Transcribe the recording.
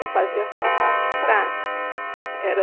Eu fazia só a parte prática. Era